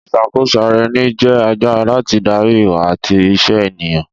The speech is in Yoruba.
Ìṣàkóso ara ẹni jẹ́ agbára láti darí ìwà àti ìṣe ènìyàn